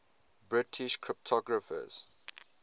british cryptographers